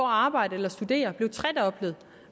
arbejde eller studere er blevet tredoblet